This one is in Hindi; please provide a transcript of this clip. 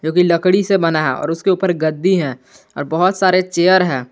जोकि लकड़ी से बना है और उसके ऊपर गद्दी है और बहुत सारे चेयर है।